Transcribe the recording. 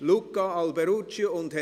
Grossrat Alberucci und Grossrat